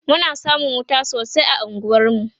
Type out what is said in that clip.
Muna samun wuta sosai a unguwar mu